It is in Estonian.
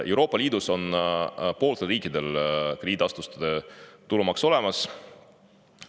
Euroopa Liidus on pooltel riikidel krediidiasutuste tulumaks olemas.